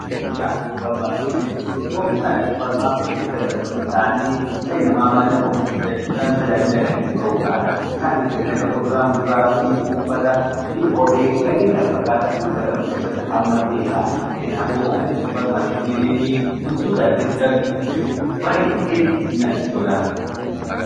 Oomishaalee supermarketii jechuun immoo oomishaalee supermarketii keessatti argaman ta'anii dhalli nama maallaqa ofiidhaan bitachuudhaan tajaajila kan itti ba'uudha. Isaannis kanneen akka kuduraa fi muduraa, uffata, kophee fa'aa fi kanneen kana fakkaatan hunda kan of keessatti hammateedha. Kanaafuu anis supermarketii deemee wantoota adda addaa bitachuu baayyee natti tola.